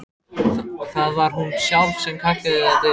Það var hún sjálf sem kallaði þetta yfir sig.